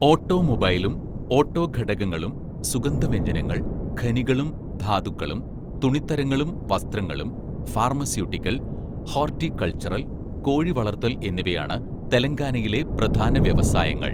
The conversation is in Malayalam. ഓട്ടോമൊബൈലും ഓട്ടോ ഘടകങ്ങളും, സുഗന്ധവ്യഞ്ജനങ്ങൾ, ഖനികളും ധാതുക്കളും, തുണിത്തരങ്ങളും വസ്ത്രങ്ങളും, ഫാർമസ്യൂട്ടിക്കൽ, ഹോർട്ടികൾച്ചർ, കോഴിവളർത്തൽ എന്നിവയാണ് തെലങ്കാനയിലെ പ്രധാന വ്യവസായങ്ങൾ.